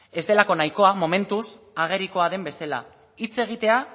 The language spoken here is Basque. ez delako nahikoa momentuz agerikoa den bezala hitz egitea